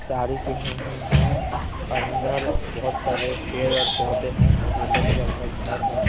साड़ी पहनी हुई हैं अंदर बहुत सारे पेड़ और पौधे हैं येल्लो कलर का घर हैं।